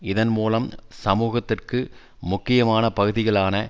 இதன் மூலம் சமூகத்திற்கு முக்கியமான பகுதிகளான